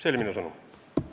See oli minu sõnum.